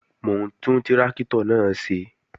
Mò ń tún tráktọ̀ náà ṣe